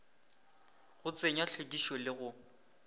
go tsenywa hlwekišo le go